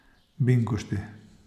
Binkošti.